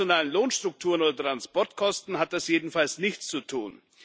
Mit nationalen Lohnstrukturen oder Transportkosten hat das jedenfalls nichts zu tun.